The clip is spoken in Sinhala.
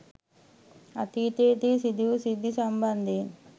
අතීතයේදී සිදුවූ සිද්ධි සම්බන්ධයෙන්